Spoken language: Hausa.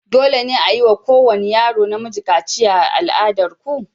Dole ne a yi wa kowane yaro namiji kaciya a al'adar ku?